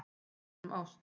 Tákn um ást